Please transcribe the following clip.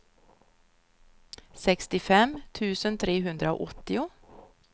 sextiofem tusen trehundraåttio